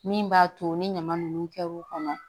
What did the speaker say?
Min b'a to ni ɲama nunnu kɛr'u kɔnɔ